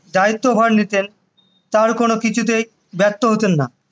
দায়িত্ব ভার নিতেন তার কোনো কিছুতে ব্যর্থ হতেন না